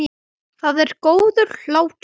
Það er góður hlátur.